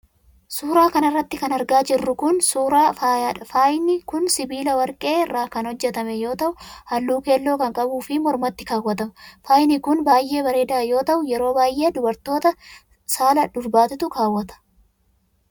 Suura kana irratti kan argaa jirru kun, suura faayaadha. Faayni kun sibiila warqee irraa kan hojjatame yoo ta'u haalluu keelloo kan qabuu fi mormatti kaawwatama. Faayni kun baay'ee bareedaa yoo ta'u yeroo baay'ee dubartoota saala dubartiitu kaawwata.